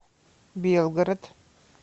белгород